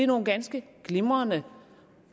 nogle ganske glimrende